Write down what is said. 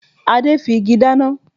Adé fi igi dáná